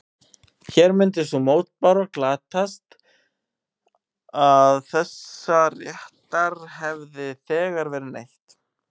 Hér myndi sú mótbára glatast að þessa réttar hefði þegar verið neytt.